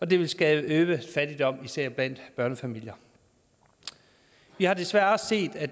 det ville skabe øget fattigdom især blandt børnefamilier vi har desværre også set at